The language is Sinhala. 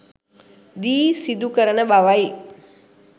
දී සිදු කරන බවයි.